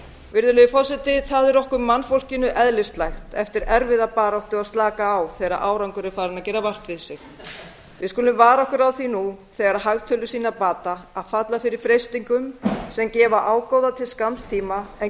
virðulegi forseti það er okkur mannfólkinu eðlislægt eftir erfiða baráttu að slaka á þegar árangur er farinn að gera vart við sig við skulum vara okkur á því nú þegar hagtölur sýna bata að falla fyrir freistingum sem gefa ágóða til skamms tíma en